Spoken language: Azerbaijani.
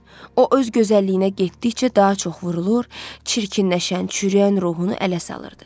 O öz gözəlliyinə getdikcə daha çox vurulur, çirkinləşən, çürüyən ruhunu ələ salırdı.